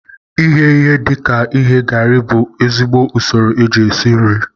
Ighe ihe dika ighe garị bụ ezigbo usoro eji esi nri